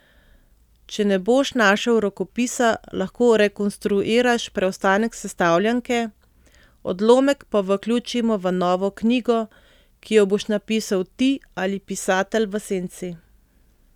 Če ne boš našel rokopisa, lahko rekonstruiraš preostanek sestavljanke, odlomek pa vključimo v novo knjigo, ki jo boš napisal ti ali pisatelj v senci.